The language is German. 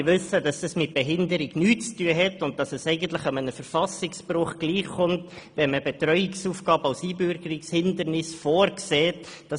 Wir alle wissen, dass dies nichts mit Behinderung zu tun hat und eigentlich einem Verfassungsbruch gleichkommt, wenn Betreuungsaufgaben als Relativierung des Einbürgerungshindernisses vorgesehen sind.